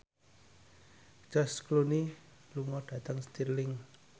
George Clooney lunga dhateng Stirling